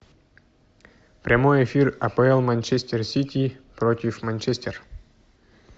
прямой эфир апл манчестер сити против манчестер